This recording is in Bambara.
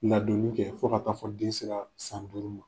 Ladonni kɛ fo ka taa fɔ den seraa san duuru ma.